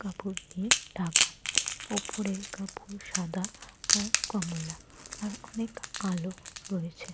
কাপড় দিয়ে ঢাকা। ওপরের কাপড় সাদা আর কমলা। আর অনেক আলো রয়েছে।